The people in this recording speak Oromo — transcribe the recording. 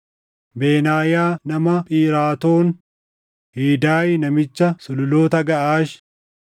Benaayaa nama Phiraatoon Hidaay namicha sululoota Gaʼaash,